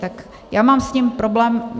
Tak já mám s tím problém.